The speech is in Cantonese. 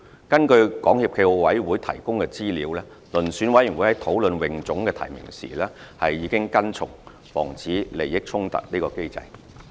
根據港協暨奧委會提供的資料，遴選委員會在討論泳總的提名時已跟從防止利益衝突的機制。